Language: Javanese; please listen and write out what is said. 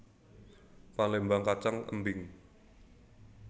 Palémbang kacang embing